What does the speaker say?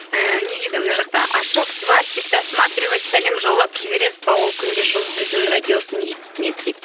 ііі не дейді мына жақта ашок сварщик сәлем жолдап жібересіз бе ол күнде жұлдыздың радиосын еститін еді дейді